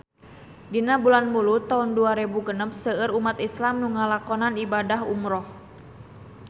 Dina bulan Mulud taun dua rebu genep seueur umat islam nu ngalakonan ibadah umrah